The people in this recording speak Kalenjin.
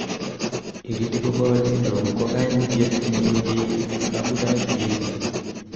irritable bowel syndrome ko kaimutyet newechei abutanik cheechen